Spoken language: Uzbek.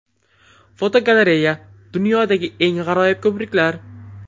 Fotogalereya: Dunyodagi eng g‘aroyib ko‘priklar.